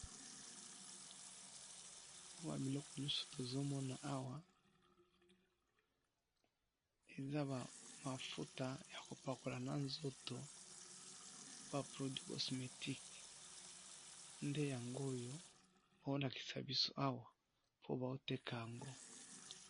Biloko nyonso tozomona awa eza mafuta eza ba mafuta ya kopakola na nzoto ba produits cosmétiques. Nde Yango oyo bazolakisi biso Awa. Po bazo Teka ango.